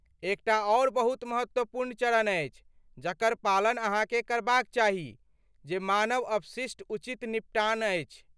एकटा आओर बहुत महत्वपूर्ण चरण अछि जकर पालन अहाँकेँ करबाक चाही, जे मानव अपशिष्टक उचित निपटान अछि।